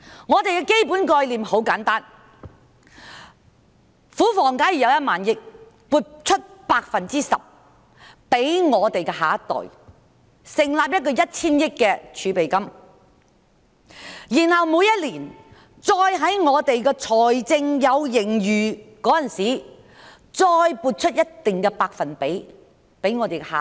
我們的基本概念很簡單：假設庫房有1萬億元，那便撥出 10% 給下一代，成立1千億元的儲備金，然後在每年財政有盈餘的時候，再撥出一定的百分比給下一代。